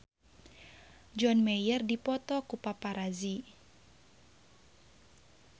John Mayer dipoto ku paparazi